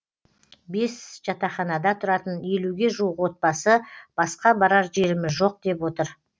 бес жатақханада тұратын елуге жуық отбасы басқа барар жеріміз жоқ деп отыр